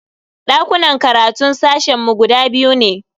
Dakunan karatun sashen mu guda biyu ne.